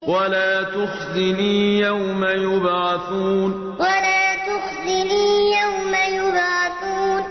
وَلَا تُخْزِنِي يَوْمَ يُبْعَثُونَ وَلَا تُخْزِنِي يَوْمَ يُبْعَثُونَ